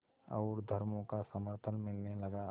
और धर्मों का समर्थन मिलने लगा